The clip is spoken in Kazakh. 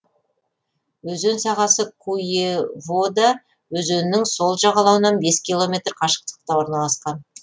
өзен сағасы куевода өзенінің сол жағалауынан бес километр қашықтықта орналасқан